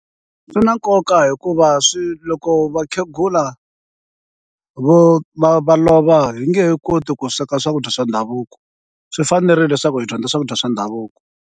Swi na nkoka hikuva swi loko vakhegula vo va va lova hi nge he koti ku sweka swakudya swa ndhavuko, swi fanerile leswaku hi dyondza swakudya swa ndhavuko.